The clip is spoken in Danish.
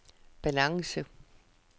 balance